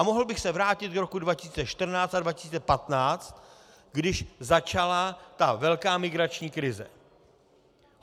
A mohl bych se vrátit do roku 2014 a 2015, když začala ta velká migrační krize.